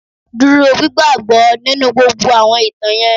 Dúró gbigbagbọ nínú gbogbo àwọn ìtàn yẹn.